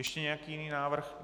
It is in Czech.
Ještě nějaký jiný návrh?